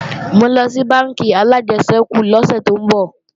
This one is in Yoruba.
Mò ńlọ sí bánkì alájẹsẹ́kù lọ́sè tó ń bọ̀